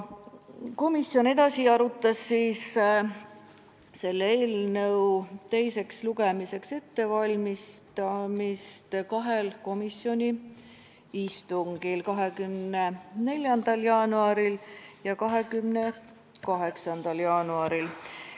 Komisjon arutas eelnõu teiseks lugemiseks ettevalmistamist kahel istungil, 24. jaanuaril ja 28. jaanuaril.